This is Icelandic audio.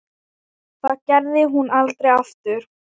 Það gerði hún aldrei aftur.